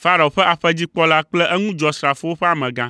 Farao ƒe aƒedzikpɔla kple eŋudzɔsrafowo ƒe amegã.